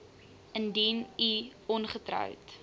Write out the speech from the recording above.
indien u ongetroud